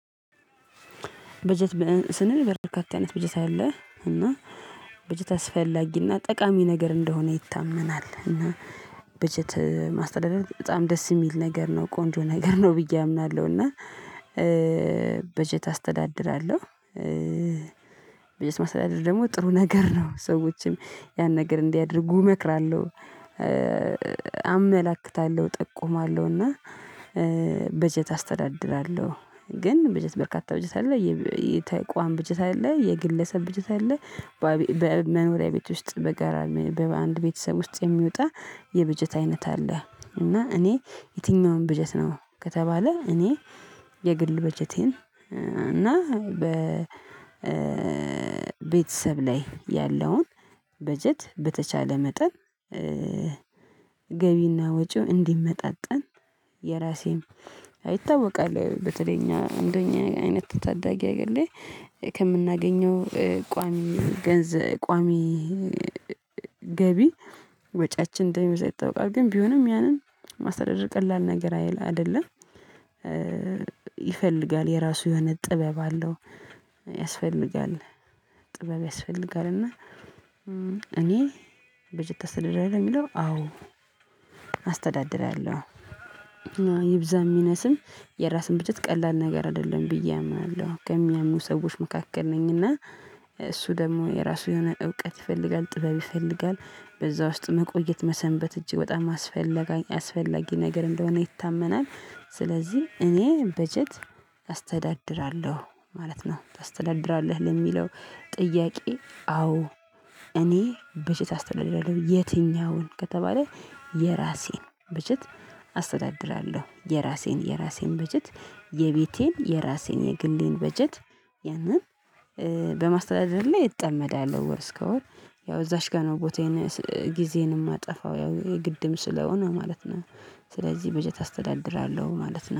በጀት ስንል በርካታ አይነት በጀት አለ እና በጀት አስፈላጊና ጠቃሚ ነገር እንደሆነ ይታመናል። እና በጀት ማስተዳደር በጣም ደስ የሚል ነገር ነው ቆንጆ ነገር ነው ብዬ አምናለሁ። እና በጀት አስተዳድራለሁ። በጀት ማሰተዳደር ደግሞ ጥሩ ነገር ነው። ሰዎችም ያን ነገር እንዲያደርጉ እመክራለሁ አመላክታለሁ ጠቁማለሁና። በጀት አስተዳድራለሁ። ግን በጀት በርካታ በጀት አለ የተቋም በጀት አለ የግለሰብ በጀት አለ። በመኖሪያ ቤት ውስጥ በጋራ በአንድ ቤተሰብ ውስጥ የሚወጣ የበጀት አይነት አለ። እና እኔ የትኛውም በጀት ነው ከተባለ እኔ የግል በጀቴን እና በቤተሰብ ላይ ያለውን በጀት በተቻለ መጠን። ገቢና ወጪው እንዲመጣጠን። የራሴን ይታወቃል በተለይ እንደኛ አይነት ታዳጊ አገር ላይ ከምናገኘው ቋሚ ገቢ ከወጪያችን እንደሚበዛ ይታወቃል። ግን ቢሆንም ያንን ማስተዳደር ቀላል ነገር አይደለም። ይፈልጋል የራሱ የሆነ ጥበብ አለው። ያስፈልጋል ጥበብ ያስፈልጋል። እና እኔ በጀት አስተዳደር ነው የሚለው አዎ አስተዳድራለሁ። ይብዛም ይነስም የራስን ብጀት ቀላል ነገር አይደለም ብዬ አምናለሁ ከሚያምኑ ሰዎች መካከል ነኝ። እና እሱ ደግሞ የራሱ የሆነ እውቀት ይፈልጋል ጥበብ ይፈልጋል በዛ ውስጥ መቆየት መሰንበት እጅግ በጣም አስፈላጊ ነገር እንደሆነ ይታመናል። ስለዚህ እኔ በጀት አስተዳድራለሁ ማለት ነው። አስተዳድራለሁ ለሚለው ጥያቄ አዎ እኔ በጀት አስተዳድራለሁ። የትኛውን ከተባለ የራሴን በጀት አስተዳድራለሁ። የራሴን የራሴን በጀት የቤቴን የራሴን የግሌን በጀት ያንን በማስተዳደር ላይ ጠመዳል ወር እስከ ወር ያው እዛች ጋር ነው ቦታዬን ጊዜዬን የማጠፋው ያው ግድም ስለሆነ ማለት ነው። ስለዚህ በጀት አስተዳድራለሁ ማለት ነው